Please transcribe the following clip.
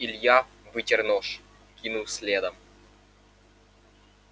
илья вытер нож кинул следом